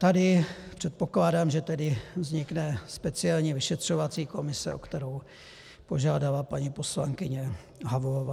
Tady předpokládám, že tedy vznikne speciální vyšetřovací komise, o kterou požádala paní poslankyně Havlová.